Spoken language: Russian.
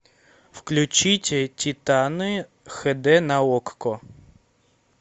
включите титаны хэ дэ на окко